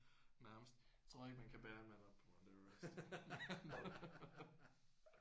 Nærmest. Jeg tror ikke man kan bære en mand op på Mount Everest